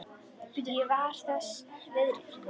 Ég var þess virði.